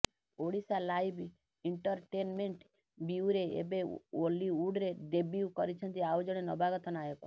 Odisha live entertainment bureau ଏବେ ଓଲିଉଡରେ debut କରୁଛନ୍ତି ଆଉ ଜଣେ ନବାଗତ ନାୟକ